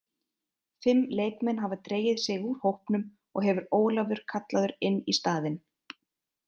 Fimm leikmenn hafa dregið sig úr hópnum og hefur Ólafur kallaður inn í staðinn.